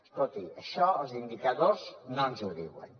escolti això els indicadors no ens ho diuen